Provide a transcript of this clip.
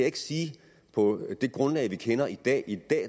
ikke sige på det grundlag vi kender i dag i dag